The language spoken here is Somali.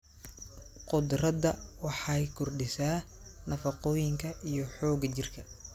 Khudradda waxay kordhisaa nafaqooyinka iyo xoogga jirka.